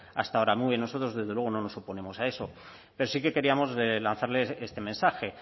hasta ahora muy bien nosotros desde luego no nos oponemos a eso pero sí que queríamos lanzarles este mensaje